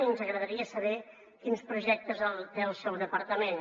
i ens agradaria saber quins projectes té el seu departament